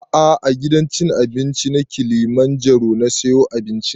A'a a gidan cin abinci na kilimanjaro na siyo abincin